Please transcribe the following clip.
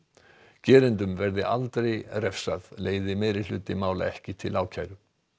gerendum verði aldrei refsað leiði meirihluti mála ekki til ákæru